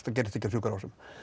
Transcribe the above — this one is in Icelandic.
það gerist ekki á sjúkrahúsum